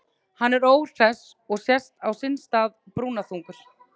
Hann er óhress og sest á sinn stað, brúnaþungur.